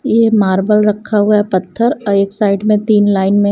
यह मार्बल रखा हुआ है पत्थर एक साइड में तीन लाइन में --